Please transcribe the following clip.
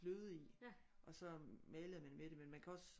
Fløde i og så malede man med det men man kan også